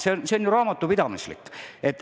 See on ju raamatupidamislik.